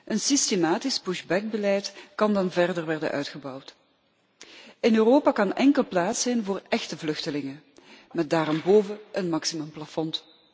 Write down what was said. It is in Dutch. Een systematisch pushback beleid kan dan verder worden uitgebouwd. In Europa kan enkel plaats zijn voor echte vluchtelingen, met bovendien een maximumplafond.